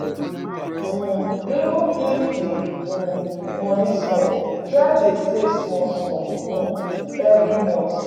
um Even if di um money small, try dey save small small um every month